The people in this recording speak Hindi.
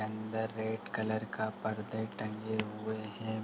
अंदर रेड कलर का पर्दे टंगे हुए हैं।